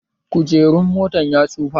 Kujeran motan ya tsufa